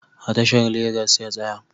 A tashar Legas ya tsaya